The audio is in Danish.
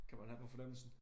Kan man have på fornemmelsen